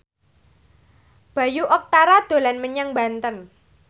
Bayu Octara dolan menyang Banten